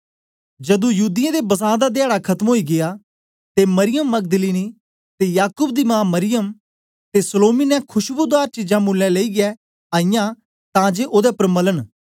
जदू युदियें दे बसां दा धयाडा खत्म ओई िगया ते मरियम मगदलीनी ते याकूब दी मा मरियम ते सलोमी ने खुशबुदार चीजां मुलैं लेईयै के आईयै ओदे उपर मलन